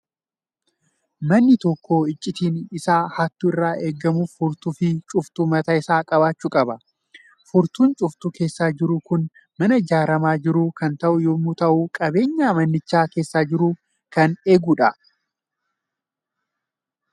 Manni tokko icciitiin isaa hattuu irraa eegamuuf furtuu fi cuftuu mataa isaa qabaachuu qaba. Furtuun cuftuu keessa jiru kun mana ijaaramaa jiruuf kan ta'u yommuu ta'u, qabeenya manicha keessa jiru kan eegudha.